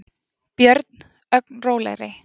björn, ögn rólegri.